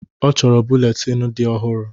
Ọ chọrọ buletin dị ọhụrụ